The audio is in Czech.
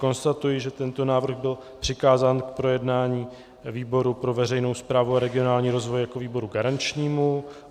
Konstatuji, že tento návrh byl přikázán k projednání výboru pro veřejnou správu a regionální rozvoj jako výboru garančnímu.